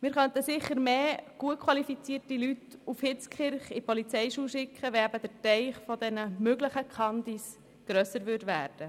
Wir könnten mehr gut qualifizierte Leute nach Hitzkirch in die Polizeischule schicken, wenn der Teich der möglichen Kandidierenden grösser würde.